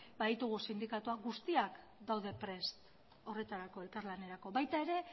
baditugu sindikatuak guztiak daude prest horretarako elkarlanerako baita ere